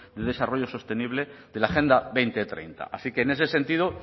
de desarrollo sostenible de la agenda dos mil treinta así que en ese sentido